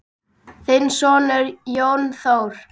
Þinn sonur, Jón Þór.